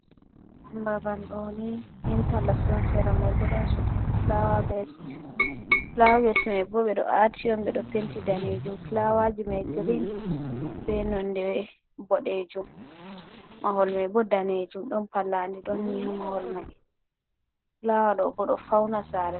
Babal ɗoni inti loks on sera mai bo ɗon fulawa bes, fulawa bes mai bo ɓe ɗo aati on ɓe ɗo penti danejum. Fulawaji mai girin be nonde bodejum, mahol mai bo danejum ɗon palladi ɗon ni ha mahol mai, fulawa ɗo bo ɗo fauna sare.